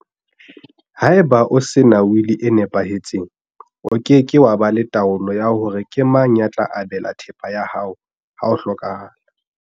Haeba o sena wili e nepahetseng, o ke ke wa ba le taolo ya hore na ke mang ya tla abelwa thepa ya hao ha o hlokaha la.